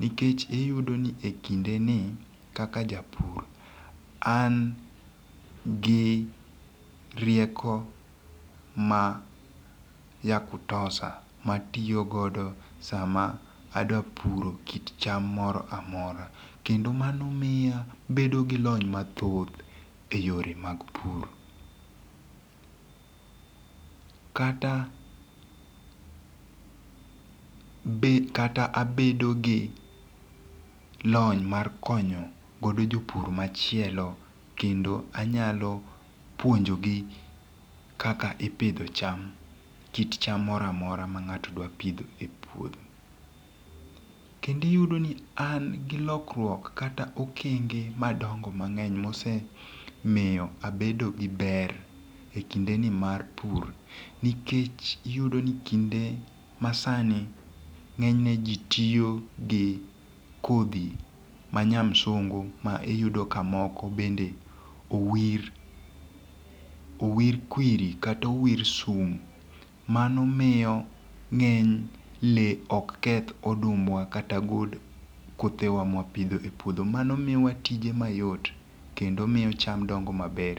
Nikech iyudo ni e kinde ni kaka japur an gi rieko ma yakutosha matiyogodo sama adwa puro kit cham moro amora. Kendo mano miya abedo gi lony mathoth e yore mag pur. Kata be kata abedo gi lony mar konyo godo jopur machielo kendo anyalo puonjogi kaka ipidho cham kit cham moro amora ma ng'ato dwa pidho e puodho. Kendo iyudo ni an gi lokruok kata okenge madongo mang'eny ma osemiyo abedo gi ber e kinde ni mar pur nikech iyudo ni kinde ma sani ng'eny ne ji tiyo gi kodhi ma nya msungu ma iyudo ka mongo bende owir owir kwiri kata owir sum mano miyo ng'eny le ok keth odumbwa kata gol kothe wa ma wapidho e puodho mano miyo wa tije mayot kendo miyo cham dongo maber.